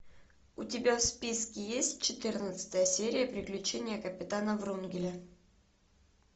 у тебя в списке есть четырнадцатая серия приключения капитана врунгеля